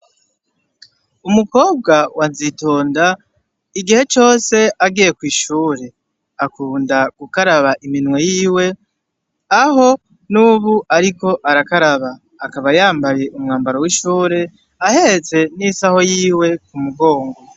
Umukobwa wa nzitonda igihe cose agiye kw'ishure akunda gukaraba iminwe yiwe aho n'ubu ariko arakabara, akaba yambaye umwambaro w'ishure ahetse n'isaho yiwe ku mugongo.